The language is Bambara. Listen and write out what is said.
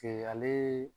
ale